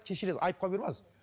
кешірерсіз айыпқа бұйырмаңыз